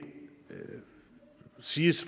siges